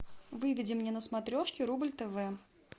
выведи мне на смотрешке рубль тв